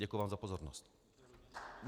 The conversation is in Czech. Děkuji vám za pozornost.